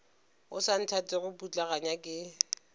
o sa nthatego putlaganya ke